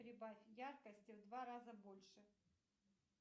прибавь яркости в два раза больше